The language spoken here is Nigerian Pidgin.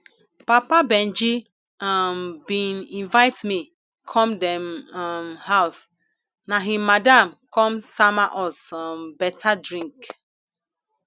papa benji um bin invite me come dem um house na im madam come sama us um better drink